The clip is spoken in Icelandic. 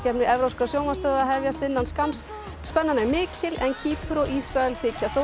evrópskra sjónvarpsstöðva hefjast innan skamms spennan er mikil en Kýpur og Ísrael þykja þó